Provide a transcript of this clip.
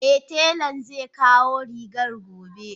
Eh telan zekawo rigarki gobe